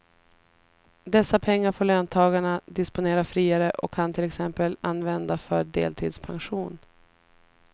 Dessa pengar får löntagarna disponera friare och kan till exempel använda för deltidspension.